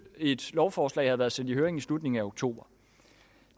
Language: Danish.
et lovforslag have været sendt i høring i slutningen af oktober